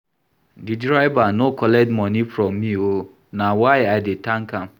Di driver no collect moni from me o, na why I dey tank am.